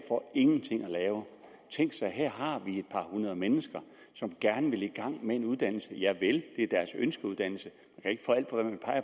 for ingenting at lave tænk her har vi et par hundrede mennesker som gerne vil i gang med en uddannelse javel det er deres ønskeuddannelse